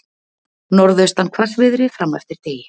Norðaustan hvassviðri fram eftir degi